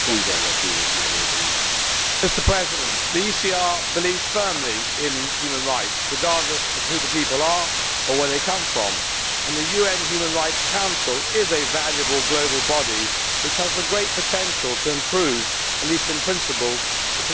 Mr President, the ECR believes firmly in human rights, regardless of who the people are or where they come from. The UN Human Rights Council is also a valuable global body, which has the great potential to improve, at least in principle, the human rights situation everywhere.